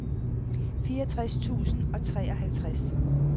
fireogtres tusind og treoghalvtreds